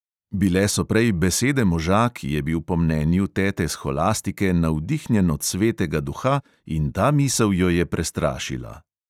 Bile so prej besede moža, ki je bil po mnenju tete sholastike navdihnjen od svetega duha in ta misel jo je prestrašila.